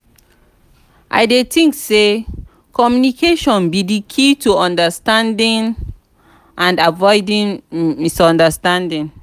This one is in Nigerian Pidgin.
i dey think say communication be di key to understanding and avoiding misunderstandings.